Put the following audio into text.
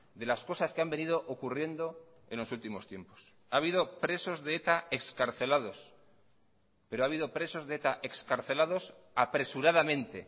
de las cosas que han venido ocurriendo en los últimos tiempos ha habido presos de eta excarcelados pero ha habido presos de eta excarcelados apresuradamente